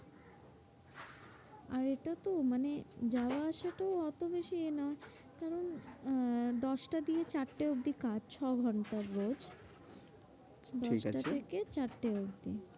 আর এটা তো মানে যাওয়া আসাটা অত বেশি এ নয়। কারণ আহ দশটা দিয়ে চারটে অবধি কাজ। ছ ঘন্টার রোজ। ঠিক আছে, দশটা থেকে চারটে অবধি।